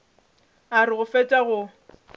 a re go fetša go